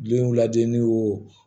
Denw lajɛ ni